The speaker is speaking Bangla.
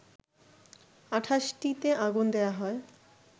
২৮টিতে আগুন দেয়া হয়